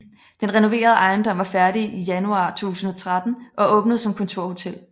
Den renoverede ejendom var færdig januar 2013 og åbnede som kontorhotel